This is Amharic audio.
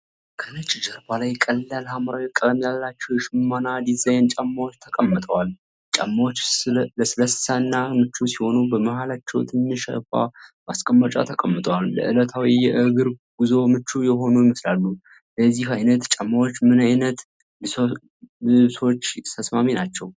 ከነጭ ጀርባ ላይ ቀላል ሐምራዊ ቀለም ያላቸው የሽመና ዲዛይን ጫማዎች ተቀምጠዋል። ጫማዎቹ ለስላሳ እና ምቹ ሲሆኑ፣ በመሃላቸው ትንሽ የአበባ ማስቀመጫ ተቀምጧል። ለዕለታዊ የእግር ጉዞ ምቹ የሆኑ ይመስላሉ። ለዚህ አይነት ጫማዎች ምን አይነት ልብሶች ተስማሚ ናቸው?